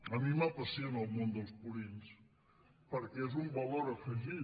a mi m’apassiona el món dels purins perquè és un valor afegit